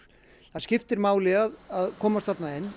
það skiptir máli að komast þarna inn